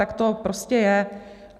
Tak to prostě je.